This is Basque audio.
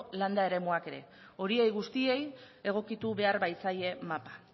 landa eremuak ere horiei guztiei egokitu behar baitzaie mapa